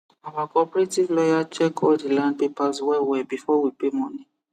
our cooperative lawyer check all the land papers wellwell before we pay money